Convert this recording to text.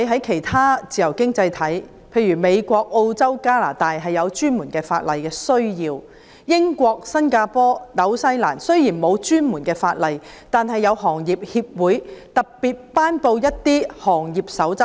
其他自由經濟體，例如美國、澳洲、加拿大訂有專門法例，而英國、新加坡、新西蘭雖然沒有專項法例，但有關行業的協會亦特別頒布一些行業守則。